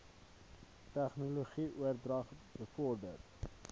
tegnologie oordrag bevorder